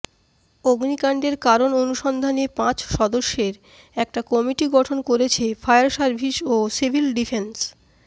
অগ্নিকাণ্ডের কারণ অনুসন্ধানে পাঁচ সদস্যের একটা কমিটি গঠন করেছে ফায়ার সার্ভিস ও সিভিল ডিফেন্স